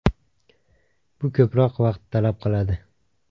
Bu ko‘proq vaqt talab qiladi.